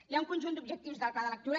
hi ha un conjunt d’objectius del pla de lectura